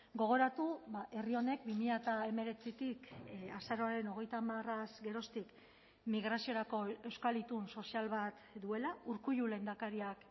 gogoratu herri honek bi mila hemeretzitik azaroaren hogeita hamaraz geroztik migraziorako euskal itun sozial bat duela urkullu lehendakariak